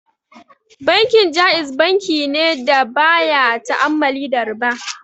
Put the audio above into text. Bankin Ja'iz bankine da baya ta'ammali da riba.